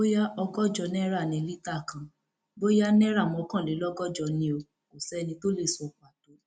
bóyá ọgọjọ náírà ní lítà kan bóyá náírà mọkànlélọgọjọ ni o kò sẹni tó lè sọ pàtó